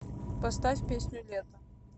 поставь песню лето